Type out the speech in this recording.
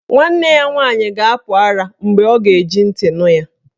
Nwanna ya nwaanyị ga-apụ ara mgbe ọ ga-eji ntị nụ ya.